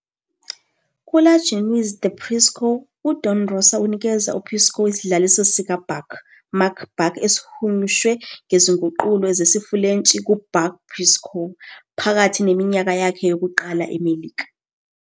KuLa Jeunesse de Picsou, uDon Rosa unikeza uPicsou isidlaliso sikaBuck McDuck, esihunyushwe ngezinguqulo zesiFulentshi nguBuck Picsou, phakathi neminyaka yakhe yokuqala eMelika.